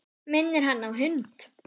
Minnir hann á hund.